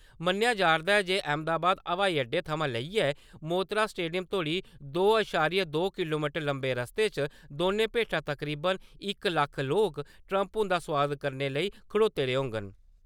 मन्नेआ जा'रदा ऐ जे अहमदाबाद ब्हाई अड्डे थमां लेइयै मोतरा स्टेडियम तोड़ी दो इशारिया दो किलोमीटर लम्मे रस्ते च दौने भेठा तकरीबन इक लक्ख लोक, ट्रम्प हुंदा स्वागत करने लेई खड़ोते दे होङन ।